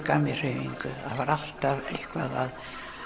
gaf mér hreyfingu það var alltaf eitthvað